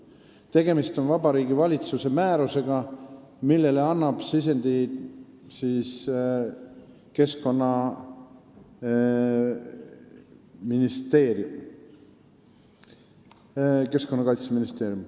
Tegemist on Vabariigi Valitsuse määrusega, mille jaoks on sisendi andnud Keskkonnaministeerium.